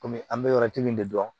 Kɔmi an bɛ yɔrɔ min de dɔn